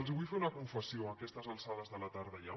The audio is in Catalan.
els vull fer una confessió a aquestes alçades de la tarda ja